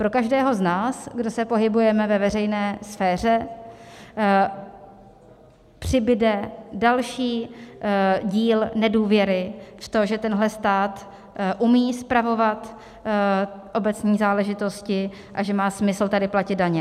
Pro každého z nás, kdo se pohybujeme ve veřejné sféře, přibude další díl nedůvěry v to, že tenhle stát umí spravovat obecní záležitosti a že má smysl tady platit daně.